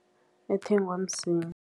Ethengwa msinya.